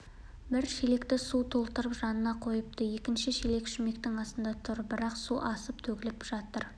бір шелекті суға толтырып жанына қойыпты екінші шелек шүмектің астында тұр бірақ су асып төгіліп жатыр